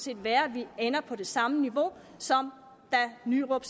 være at vi ender på det samme niveau som da nyrup